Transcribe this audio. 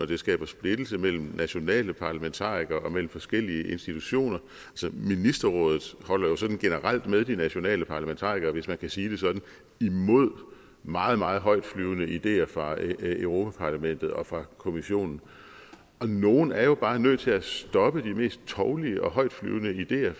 det skaber splittelse mellem nationale parlamentarikere og mellem forskellige institutioner ministerrådet holder jo sådan generelt med de nationale parlamentarikere hvis man skal sige det sådan imod meget meget højtflyvende ideer fra europa parlamentet og fra kommissionen og nogen er jo bare nødt til at stoppe de mest tovlige og højtflyvende ideer